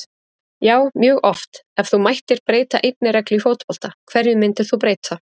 Já mjög oft Ef þú mættir breyta einni reglu í fótbolta, hverju myndir þú breyta?